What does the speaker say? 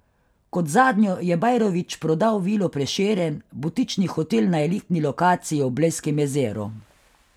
Kot zadnjo je Bajrović prodal Vilo Prešeren, butični hotel na elitni lokaciji ob blejskem jezeru.